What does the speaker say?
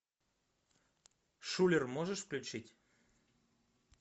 шулер можешь включить